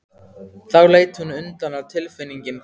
Þá leit hún undan og tilfinningin hvarf.